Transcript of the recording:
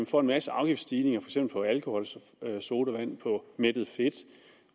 for en masse afgiftsstigninger på alkoholsodavand mættet fedt